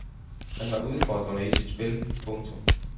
Han var udfordrende i sit spil. punktum